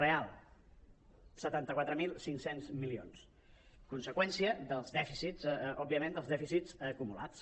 real setanta quatre mil cinc cents milions conseqüència dels dèficits òbviament dels dèficits acumulats